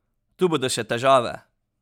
Tu bodo še težave!